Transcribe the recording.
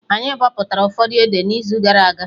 Anyị bọpụtara ụfọdụ ede na izu gara aga